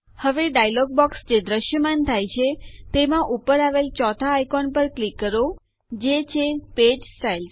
હવે dialog box જે દ્રશ્યમાન થાય છે તેમાં ઉપર આવેલ ૪ થા આઇકોન પર ક્લિક કરો જે છે પેજ સ્ટાઇલ્સ